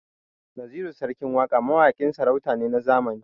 Naziru sarkin waƙa mawaƙin sarauta ne na zamani.